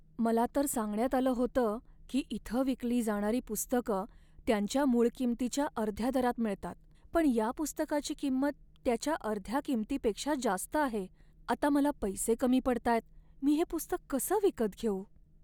मला तर सांगण्यात आलं होतं की इथं विकली जाणारी पुस्तकं त्यांच्या मूळ किंमतीच्या अर्ध्या दरात मिळतात, पण या पुस्तकाची किंमत त्याच्या अर्ध्या किंमतीपेक्षा जास्त आहे. आता मला पैसे कमी पडतायत, मी हे पुस्तक कसं विकत घेऊ?